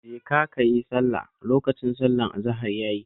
Jeka ka yi sallah, lokacin sallar azahar ya yi